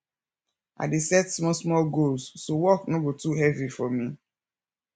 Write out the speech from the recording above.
i dey set small small goals so work no go too heavy for me